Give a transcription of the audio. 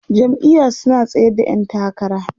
jam'iya su na tsayar da ƴan takara